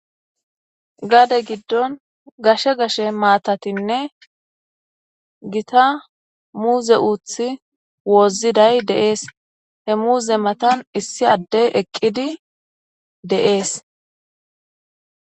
Gaadde gidin gashshe gshshe matatinne gitta muze uththi wozidayis de"es he muze matan issi adey eqidi de"es